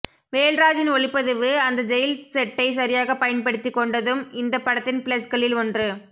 வேல்ராஜின் ஒளிப்பதிவு அந்த ஜெயில் செட்டை சரியாக பயன்படுத்தி கொண்டதும் இந்த படத்தின் பிளஸ்களில் ஒன்று